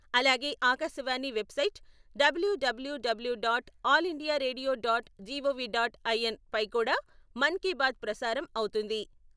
అలాగే Akashvani website W W W dot All India Radio dot GOV dot IN పై కూడా మన్ కీ బాత్ ప్రసారం అవుతుంది.